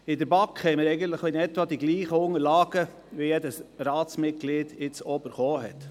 In der BaK hatten wir ungefähr die gleichen Unterlagen, wie sie auch jedes Mitglied des Grossen Rates erhalten hat.